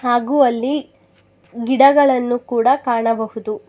ಹಾಗೂ ಅಲ್ಲಿ ಗಿಡಗಳನ್ನು ಕೂಡ ಕಾಣಬಹುದು.